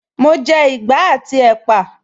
Mo jẹ ìgbá àti ẹ́pà